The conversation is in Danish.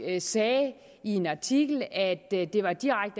sagde i en artikel at det er direkte